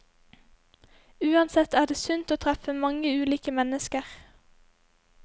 Uansett er det sunt å treffe mange ulike mennesker.